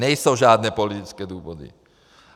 Nejsou žádné politické důvody.